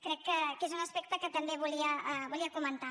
crec que és un aspecte que també volia comentar